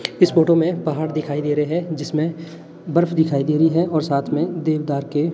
इस फोटो में पहाड़ दिखाई दे रहे हैं जिसमें बर्फ दिखाई दे रही है और साथ में देवदार के--